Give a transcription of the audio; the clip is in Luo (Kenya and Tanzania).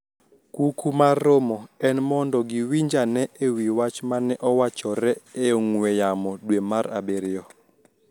Kuku mar romo en mondo giwinj ane e wi wach mane owachore e ong`we yamo dwe mar abiriyo